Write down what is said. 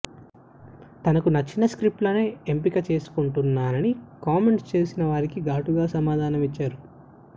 తనకు నచ్చిన స్క్రిప్ట్లనే ఎంపిక చేసుకుంటున్నానని కామెంట్స్ చేసేవారికి ఘాటుగా సమాధానమిచ్చారు